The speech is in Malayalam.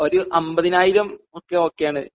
ഒരു 50000 ഒക്കെ ഓക്കെയാണ്